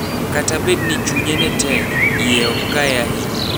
Kata bed ni chunye ne tek, ie ok kae ahinya.